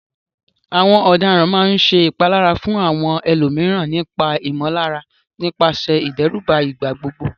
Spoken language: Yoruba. Àwọn ọ̀daràn máa ń ṣe ìpalára fún àwọn ẹlòmíràn nípa ìmọ̀lára nípasẹ̀ ìdẹ́rùbà ìgbà gbogbo.